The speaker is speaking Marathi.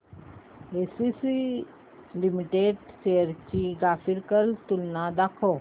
एसीसी लिमिटेड शेअर्स ची ग्राफिकल तुलना दाखव